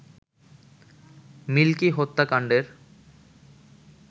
milky হত্যাকাণ্ডের